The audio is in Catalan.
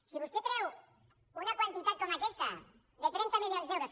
si vostè treu una quantitat com aquesta de trenta milions d’euros